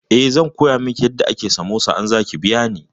Eh, zan koya miki yadda ake samosa idan za ki biya ni.